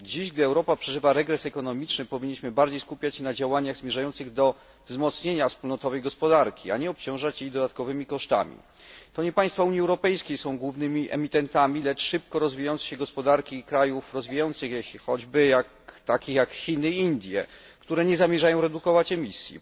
Dziś, gdy Europa przeżywa regres ekonomiczny, powinniśmy bardziej skupiać się na działaniach zmierzających do wzmocnienia wspólnotowej gospodarki, a nie obciążać jej dodatkowymi kosztami. To nie państwa Unii Europejskiej są głównymi emitentami, lecz szybko rozwijające się gospodarki krajów rozwijających się, takich jak Chiny i Indie, które nie zamierzają redukować emisji.